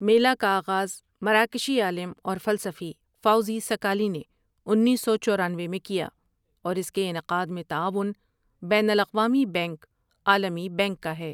میلہ کا آغاز مراکشی عالم اور فلسفی فاؤضی سکالی نے انیس سو چورانوے میں کیا اور اس کے انعقاد میں تعاون بین الاقوامی بنک عالمی بنک کا ہے ۔